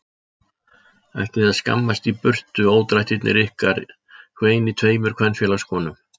Ætlið þið að skammast í burtu ódrættirnir ykkar hvein í tveimur kvenfélagskonum.